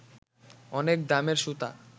অনেক দামের সুতা